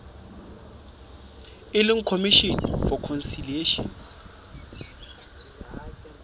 e leng commission for conciliation